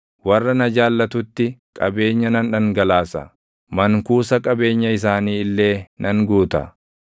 warra na jaallatutti qabeenya nan dhangalaasa; mankuusa qabeenya isaanii illee nan guuta.